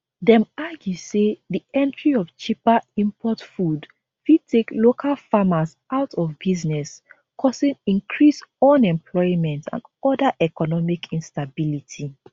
dem argue say di entry of cheaper import food fit take local farmers out of business causing increased unemployment and oda economic instability